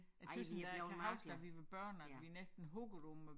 Jeg tøs da jeg kan huske da vi var børn og at vi næsten huggede om at